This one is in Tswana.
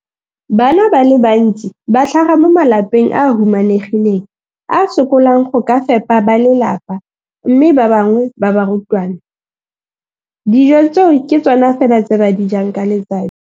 Bana ba le bantsi ba tlhaga mo malapeng a a humanegileng a a sokolang go ka fepa ba lelapa mme ba bangwe ba barutwana, dijo tseo ke tsona fela tse ba di jang ka letsatsi.